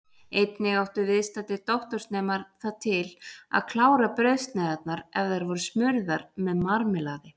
Einnig áttu viðstaddir doktorsnemar það til að klára brauðsneiðarnar ef þær voru smurðar með marmelaði.